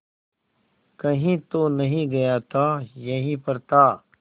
कहीं तो नहीं गया था यहीं पर था